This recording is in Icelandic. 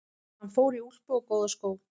Hann fór í úlpu og góða skó.